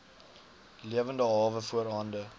lewende hawe voorhande